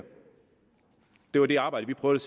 det var det arbejde vi prøvede